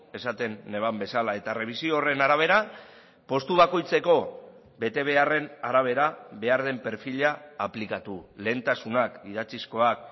esaten neban bezala eta errebisio horren arabera postu bakoitzeko betebeharren arabera behar den perfila aplikatu lehentasunak idatzizkoak